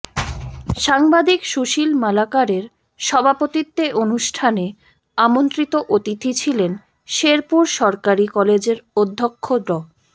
সাংবাদিক সুশীল মালাকারের সভাপতিত্বে অনুষ্ঠানে আমন্ত্রিত অতিথি ছিলেন শেরপুর সরকারি কলেজের অধ্যক্ষ ড